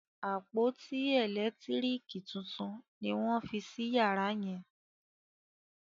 àpótí elekitiriki títún ní wón fí sí yàrá yen.